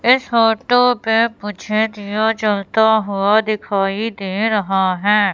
इस फोटो पे मुझे दिया जलता हुआ दिखाई दे रहा है।